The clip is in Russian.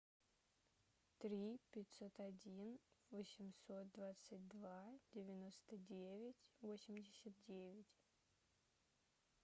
три пятьсот один восемьсот двадцать два девяносто девять восемьдесят девять